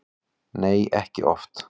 Nei, ekki oft.